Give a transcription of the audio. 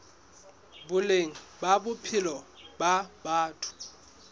boleng ba bophelo ba batho